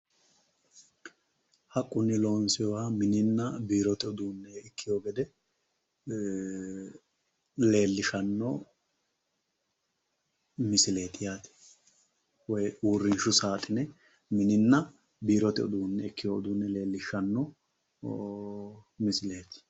haqqunni loonsoonniha mininna biirote uduunne ikkino gede ee leellishshanno misileeti yaate woyi uurrinshu saaxine mininna biirote uduune ikkino gede leellishshanno misileeti.